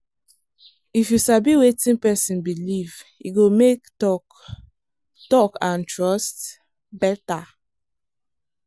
if you sabi wetin person believe e go make talk talk and trust better.